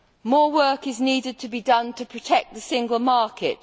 More work needs to be done to protect the single market.